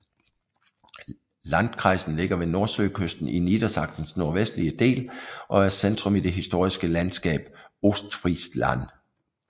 Landkreisen ligger ved Nordsøkysten i Niedersachsens nordvestlige del og er centrum i det historiske landskab Ostfriesland